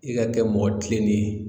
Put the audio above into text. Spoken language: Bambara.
I ka kɛ mɔgɔ kilennen ye